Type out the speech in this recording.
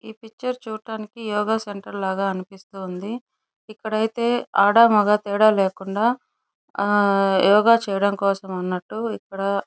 ఈ పిక్చర్ చూడటానికి యోగ సెంటర్ లాగా అనిపిస్తుంది. ఇక్కడైతే ఆడ మగ తేడా లేకుండా ఆ యోగ చేయడం కోసం అన్నట్టు --